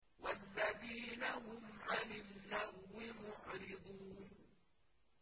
وَالَّذِينَ هُمْ عَنِ اللَّغْوِ مُعْرِضُونَ